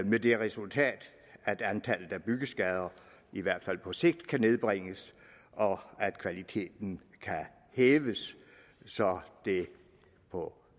med det resultat at antallet af byggeskader i hvert fald på sigt kan nedbringes og at kvaliteten kan hæves så det på